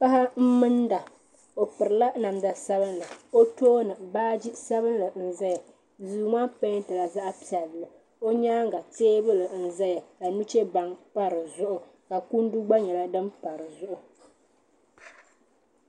Paɣa m-minda o pirila namda sabinli o tooni baaji sabinli n-zaya duu maa peentila zaɣ'piɛlli o nyaaŋa teebuli n-zaya ka nuchebaŋa pa di zuɣu ka kundu gba nyɛla din pa di zuɣu.